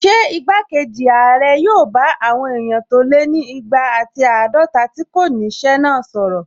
Ṣé igbákejì ààrẹ yóò bá àwọn èèyàn tó lé ní igba ati àádọta tí kò ní ṣẹ́ náà sọ̀rọ̀?